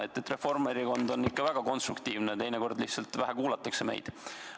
Nii et Reformierakond on väga konstruktiivne, teinekord lihtsalt vähe kuulatakse meid.